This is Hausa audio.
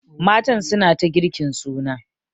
Matan suna ta girkin suna.